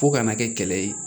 Fo kana kɛ kɛlɛ ye